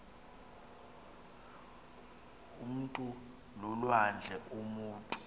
umntu lulwandle umutu